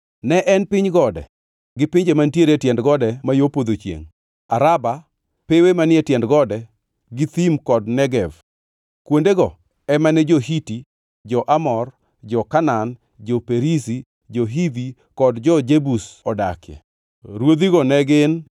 Ne en piny gode, gi pinje mantiere e tiend gode ma yo podho chiengʼ, Araba, pewe manie tiend gode, gi thim kod Negev. Kuondego ema ne jo-Hiti, jo-Amor, jo-Kanaan, jo-Perizi, jo-Hivi kod jo-Jebus odakie. Ruodhigo ne gin: